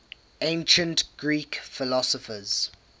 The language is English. ancient greek philosophers